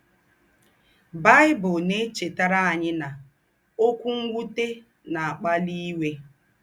Baị́bụ̀l ná-èchètàrà ànyì ná “ ókwú m̀wùtè ná-àkpálì íwè. ”